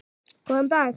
Góðan dag?